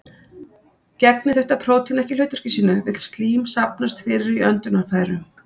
Gegni þetta prótín ekki hlutverki sínu vill slím safnast fyrir í öndunarfærum.